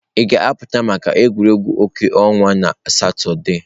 Ị ga-apụta maka egwuregwu ọkụ ọnwa na Satọde?